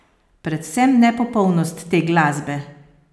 Predvsem nepopolnost te glasbe!